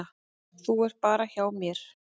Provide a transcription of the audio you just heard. Þú ert bara hjá mér.